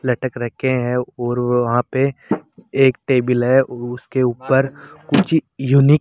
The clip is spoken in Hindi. लटक रखे है और वो वहां पे एक टेबिल है उसके ऊपर कुछ यूनिक --